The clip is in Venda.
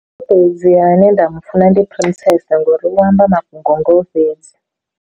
Ane nda mufuna ndi ngori vho amba mafhungo a ngao fhedzi.